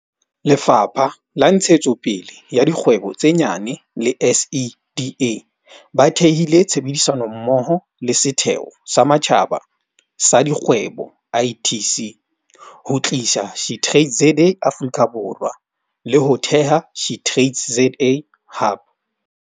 Lefapha la Ntshetsopele ya Dikgwebo tse Nyane le SEDA ba thehile tshebedisano mmoho le Setheo sa Matjhaba sa Dikgwebo ITC ho tlisa SheTradesZA Afrika Borwa, le ho theha SheTradesZA Hub.